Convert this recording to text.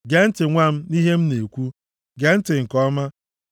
Gee ntị nwa m, nʼihe m na-ekwu. Gee ntị nke ọma.